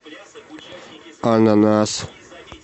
ананас